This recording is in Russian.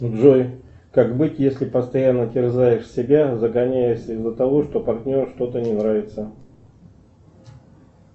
джой как быть если постоянно терзаешь себя загоняешься из за того что партнеру что то не нравится